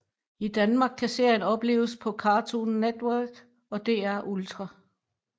I Danmark kan serien opleves på Cartoon Network og DR Ultra